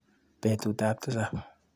Betutap tisap.